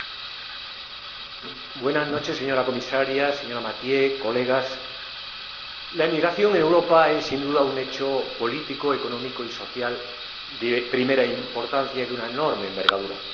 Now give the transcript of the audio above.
Señora Presidenta, señora Comisaria, señora Mathieu, colegas, la emigración en Europa es sin duda un hecho político, económico y social de primera importancia y de una enorme envergadura.